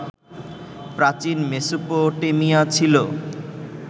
প্রাচীন মেসোপটেমিয়া ছিল